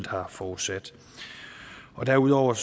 har forudsat derudover